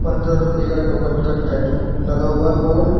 दस रुपए का टोकन का टैटू लगा हुआ है बोर्ड।